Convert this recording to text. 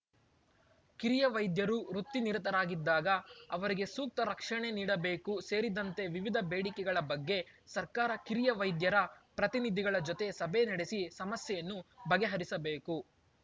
ಕಿರಿಯ ವೈದ್ಯರು ವೃತ್ತಿ ನಿರತರಾಗಿದ್ದಾಗ ಅವರಿಗೆ ಸೂಕ್ತ ರಕ್ಷಣೆ ನೀಡಬೇಕು ಸೇರಿದಂತೆ ವಿವಿಧ ಬೇಡಿಕೆಗಳ ಬಗ್ಗೆ ಸರ್ಕಾರ ಕಿರಿಯ ವೈದ್ಯರ ಪ್ರತಿನಿಧಿಗಳ ಜೊತೆ ಸಭೆ ನಡೆಸಿ ಸಮಸ್ಯೆಯನ್ನು ಬಗೆಹರಿಸಬೇಕು